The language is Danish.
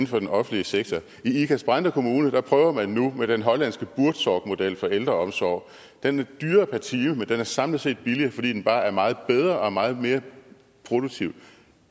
for den offentlige sektor i ikast brande kommune prøver man nu med den hollandske buurtzorgmodel for ældreomsorg den er dyrere per time men den er samlet set billigere fordi den bare er meget bedre og meget mere produktiv